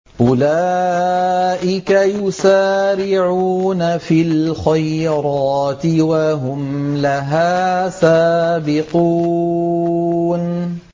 أُولَٰئِكَ يُسَارِعُونَ فِي الْخَيْرَاتِ وَهُمْ لَهَا سَابِقُونَ